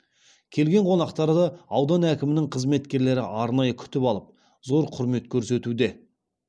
келген қонақтарды аудан әкімдігінің қызметкерлері арнайы күтіп алып зор құрмет көрсетуде